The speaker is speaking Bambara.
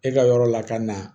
E ka yɔrɔ la ka na